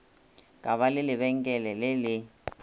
ka ba lebenkele le le